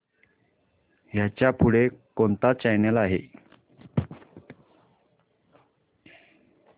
ह्याच्या पुढे कोणता चॅनल आहे